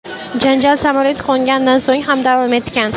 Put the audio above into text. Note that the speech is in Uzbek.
Janjal samolyot qo‘nganidan so‘ng ham davom etgan.